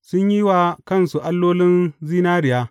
Sun yi wa kansu allolin zinariya.